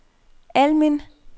Almind